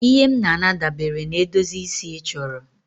Ihe m na-ana dabere na edozi isi ị chọrọ